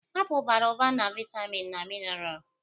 Apụl bara ụba na vitamin na mineral